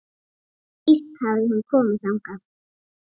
Víst hafði hún komið þangað.